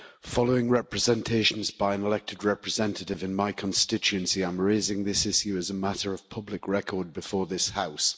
Following representations by an elected representative in my constituency, I'm raising this issue as a matter of public record before this House.